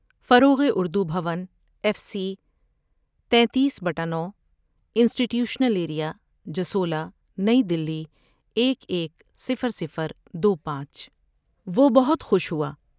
فروغ Urdu Bhawan, F C, تیتیس بٹہ نو ، institutional area, Jasola نئی دہلی